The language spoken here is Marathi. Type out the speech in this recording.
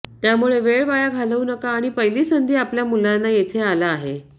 त्यामुळे वेळ वाया घालवू नका आणि पहिली संधी आपल्या मुलांना येथे आला आहे